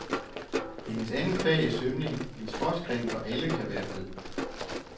Hendes andet fag er svømning, en sportsgren, hvor alle kan være med.